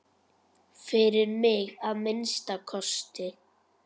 Fyrir mig, að minnsta kosti.